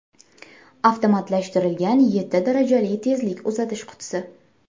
Avtomatlashtirilgan yetti darajali tezlik uzatish qutisi.